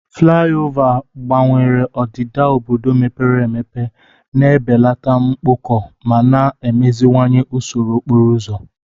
Fulaiova gbanwere odida obodo mepere emepe, na-ebelata mkpọkọ ma na-emeziwanye usoro okporo ụzọ.